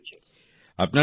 প্রসেসে রয়েছে